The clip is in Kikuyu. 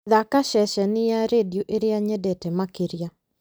thaaka ceceni ya rĩndiũ ĩrĩa nyendete makĩria